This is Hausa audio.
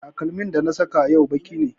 Takalmin da na saka yau baƙi ne